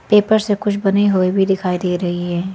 Paper से कुछ बने हुए भी दिखाई दे रही है।